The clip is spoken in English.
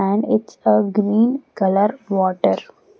and it's a green color water.